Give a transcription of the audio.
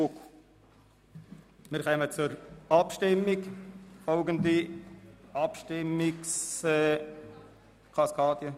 Wir kommen zur Abstimmung gemäss folgender Abstimmungskaskade.